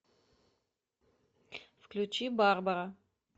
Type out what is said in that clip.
включи барбара